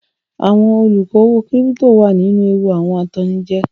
Àwọn olókòwò kírípító wà nínú ewu awọn atannijẹ.